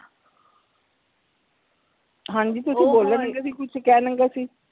ਹਾਂਜੀ ਤੁਸੀਂ ਬੋਲਣ ਲਗੇ ਸੀ ਕੁਛ ਕਹਿਣ ਲਗੇ ਸੀ